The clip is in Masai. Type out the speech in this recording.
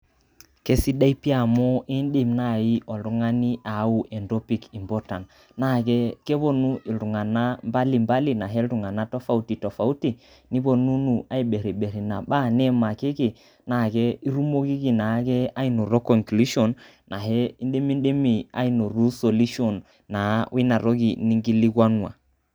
Kesidai pii amu indim naaji oltung'ani ayau entopik important naa kepuonu iltung'anak mbalimbali ahe iltung'anak tofauti tofautu nipuonunu aibirribirr ina baa niimakiki naa itumokiki naake anoto conclusion ahe indimidimi aanoto solution naa woina toki ninkilikuanua.